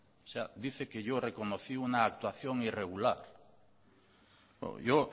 o sea dice que yo reconocí una actuación irregular yo